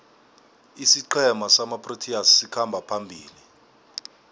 isiqhema samaproteas sikhamba phambili